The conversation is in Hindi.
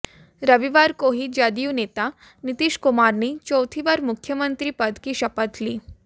रविवार को ही जदयू नेता नीतीश कुमार ने चौथी बार मुख्यमंत्री पद की शपथ ली